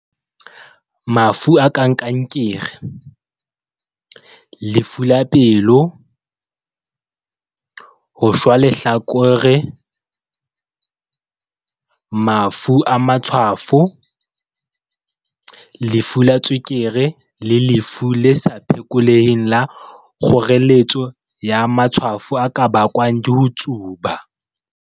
Mafu a kang kankere, lefu la pelo, ho shwa lehlakore, mafu a matshwafo, lefu la tswekere le lefu le sa phekoleheng la kgoreletso ya matshwafo a ka bakwa ke ho tsuba.